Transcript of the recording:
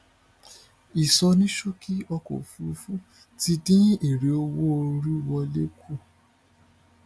ìsọníṣókì ọkọ òfurufú ti dín èrè owó orí owó wọlé kù